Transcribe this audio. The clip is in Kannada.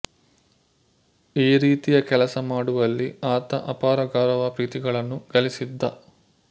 ಈ ರೀತಿಯ ಕೆಲಸ ಮಾಡುವಲ್ಲಿ ಆತ ಅಪಾರ ಗೌರವ ಪ್ರೀತಿಗಳನ್ನು ಗಳಿಸಿದ್ದ